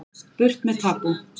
Burt með tabú